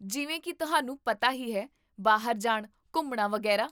ਜਿਵੇਂ ਕੀ ਤੁਹਾਨੂੰ ਪਤਾ ਹੀ ਹੈ, ਬਾਹਰ ਜਾਣ, ਘੁੰਮਣਾ, ਵਗ਼ੈਰਾ